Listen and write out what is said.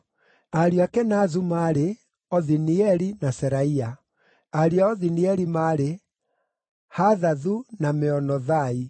Ariũ a Kenazu maarĩ: Othinieli na Seraia. Ariũ a Othinieli maarĩ: Hathathu, na Meonothai.